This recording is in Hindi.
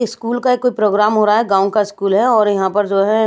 स्कूल का कोई प्रोग्राम हो रहा है गांव का स्कूल है और यहां पर जो है।